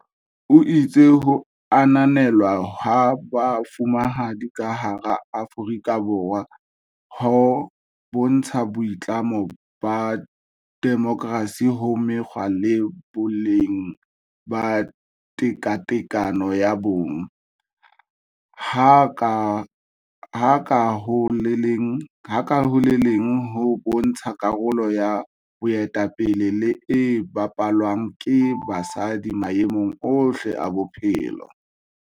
O itse ho ananelwa ha Bo fumahadi ka hara Aforika Borwa ho bontsha boitlamo ba demokersi ho mekgwa le boleng ba tekatekano ya bong, ha ka ho le leng ho bontsha karolo ya boetape le e bapalwang ke basadi maemong ohle a bophelo.